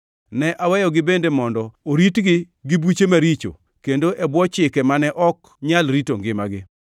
Ne aweyogi bende mondo oritgi gi buche maricho kendo e bwo chike mane ok nyal rito ngimagi.